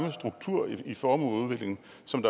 formueuligheden